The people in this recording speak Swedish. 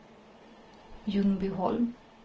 Ljungbyholm